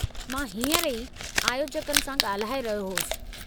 मां हींअर ई आयोजकनि सां ॻाल्हाए रहियो होसि।